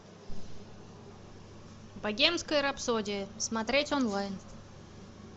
богемская рапсодия смотреть онлайн